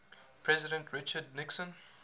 president richard nixon